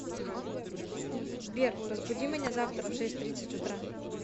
сбер разбуди меня завтра в шесть тридцать утра